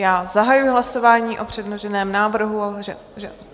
Já zahajuji hlasování o předloženém návrhu.